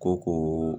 Ko